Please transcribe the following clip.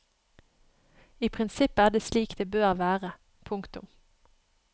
I prinsippet er det slik det bør være. punktum